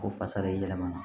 Ko fasa de yɛlɛmana